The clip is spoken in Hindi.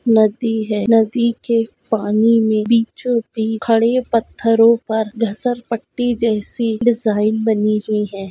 नदी है नदी के पानी मे बीचो बीच खड़े पत्थरो पर घसरपट्टी जैसी डिजाइन बनी हुई है ।